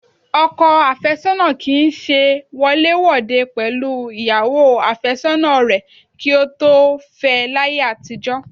Ọkọ àfẹ́sọ́nà kì í ṣe wọléwòde pẹ̀lú ìyàwó àfẹ́sọ́nà rẹ kí ó tó fẹ láyé àtijọ́